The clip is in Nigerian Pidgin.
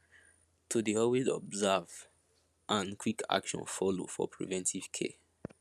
to dey alway observe and quick action follow for preventive care